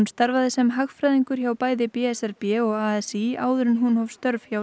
starfaði sem hagfræðingur hjá bæði b s r b og a s í áður en hún hóf störf hjá